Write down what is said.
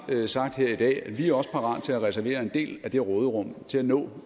sagt her i dag at vi også er parate til at reservere en del af det råderum til at nå